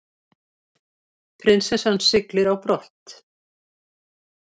Prinsessan siglir á brott